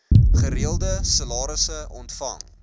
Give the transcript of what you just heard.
gereelde salarisse ontvang